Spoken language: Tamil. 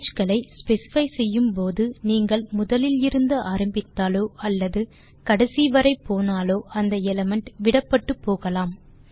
ரங்கே களை ஸ்பெசிஃபை செய்யும் போது நீங்கள் முதலிலிருந்து ஆரம்பித்தாலோ அல்லது கடைசி வரை போனாலோ அந்த எலிமெண்ட் விடப்பட்டு போகலாம்